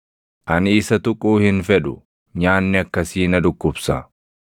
Ani isa tuquu hin fedhu; nyaanni akkasii na dhukkubsa.